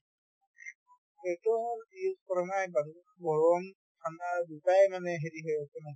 sweater use কৰা নাই বাৰু গৰম ঠাণ্ডা দুয়োটাই মানে হেৰি হৈ আছে না